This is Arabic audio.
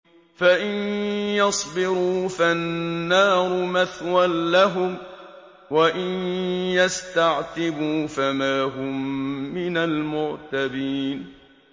فَإِن يَصْبِرُوا فَالنَّارُ مَثْوًى لَّهُمْ ۖ وَإِن يَسْتَعْتِبُوا فَمَا هُم مِّنَ الْمُعْتَبِينَ